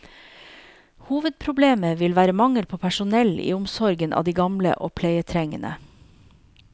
Hovedproblemet vil være mangel på personell i omsorgen av de gamle og pleietrengende.